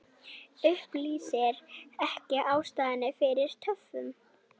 Upplýsir ekki ástæður fyrir töfum